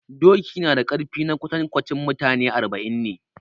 Doki nada ƙarfi na kwantankwanci mutane arba'in ne